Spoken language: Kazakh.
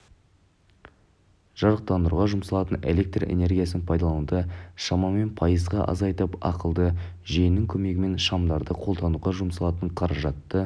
жарықтандыруға жұмсалатын электр энергиясын пайдалануды шамамен пайызға азайтып ақылды жүйенің көмегімен шамдарды қолдануға жұмсалатын қаражатты